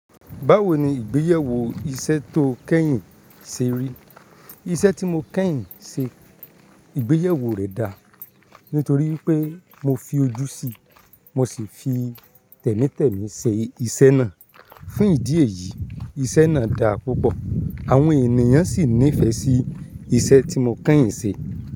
Báwo ni ìgbéyẹ̀wó iṣẹ́ tó kẹ́yìn ṣe rí? Iṣẹ́ tí mo kẹ́yìn ṣe ìgbéyẹwó rẹ̀ da nítorí wipé mo fi ojú sí i, mo sì fi tẹ̀mítẹ̀mi ṣe iṣẹ́ náà. Fún ìdí èyí, iṣẹ́ náà da púpọ̀, àwọn ènìyàn sì nífẹ̀ẹ́ sí iṣẹ́ tí mo kẹ́yìn ṣe.